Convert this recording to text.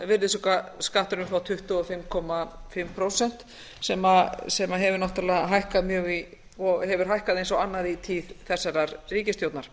virðisaukaskatturinn frá tuttugu og fimm og hálft prósent sem hefur náttúrlega hækkað mjög og hefur hækkað eins og annað í tíð þessarar ríkisstjórnar